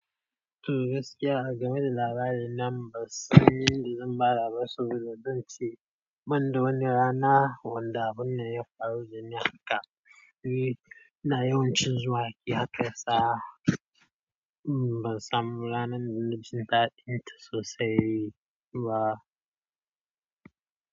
To gaskiya game da labarin nan ban san yanda zan fara ba saboda zan ce ban da wani rana wanda abunnan ya faru da ni haka ni ina yawan cin zuwa yakasawa ban samu ranar da na jin daɗinta sosai ba.